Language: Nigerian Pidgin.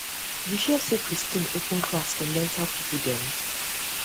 you hear say christine open class for mental people dem